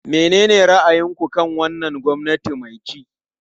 Menene ra'ayinku kan wannan gwamnati mai ci?